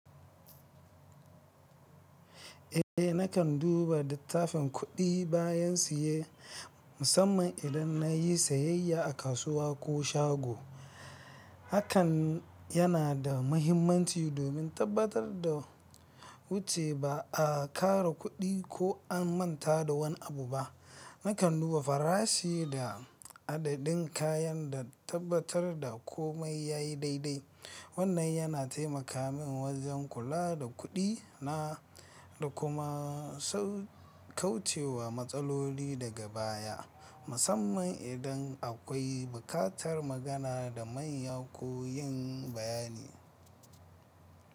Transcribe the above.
Eh, nakan duba littafin kuɗi bayan siye, musamman idan nayi sayayya a kasuwa ko shago. Hakan yana da mahimmanci domin tabbatar da wuce ba a ƙara kuɗi ko an manta da wani abu ba. Nakan duba farashi da adadin kayan da tabbatar da komai yayi daidai. Wannan yana taimaka min wajen kula da kuɗi na da kuma kauce wa matsaloli daga baya, musamman idan akwai bukatar magana da manya ko yin bayani.